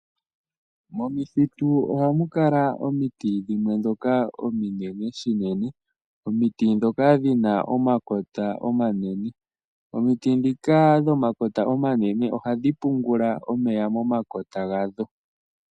Momithitu ohamu kala omiti dhimwe ndhoka ominene shinene . Omiti ndhoka dhina omakota omanene. Omiti ndhika dhomakota omanene ohadhi pungula omeya momakota gadho.